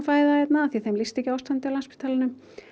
fæða hérna af því að þeim líst ekki á ástandið á Landspítalanum